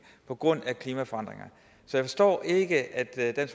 på grund af klimaforandringer så jeg forstår ikke at